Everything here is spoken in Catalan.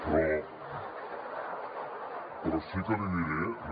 però sí que li diré no